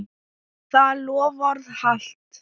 Það loforð halt.